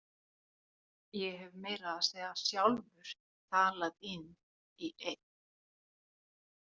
Ég hef meira að segja sjálfur talað inn í einn.